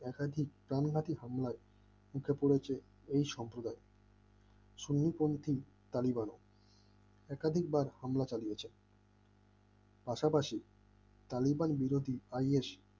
একাধিক প্রান ঘাটে হামলায় উঠে পড়েছে এই সম্প্রদায় শনিপঙ্খী তালিবানও একাধিকবার হামলা চালিয়েছেন পাশাপাশি তালিবান বিরত